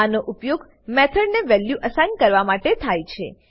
આનો ઉપયોગ મેથોડ ને વેલ્યુ એસાઈન કરવા માટે થાય છે